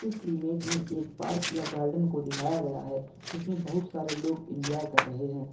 इस इमेज में एक पार्क या गार्डन को दिखाया गया है जिसमें बहुत सारे लोग इंजॉय कर रहे हैं।